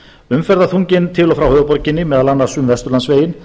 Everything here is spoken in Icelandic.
umferðarþunginn til og frá höfuðborginni meðal annars um vesturlandsveginn